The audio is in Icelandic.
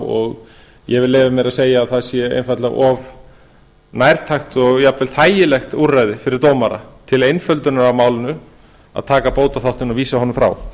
og ég vil leyfa mér að segja að það sé einfaldlega of nærtækt og jafnvel þægilegt úrræði fyrir dómara til einföldunar á málinu að taka bótaþáttinn og vísa honum frá